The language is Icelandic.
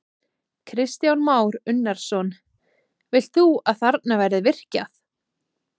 Kristján Már Unnarsson: Vilt þú að þarna verði virkjað?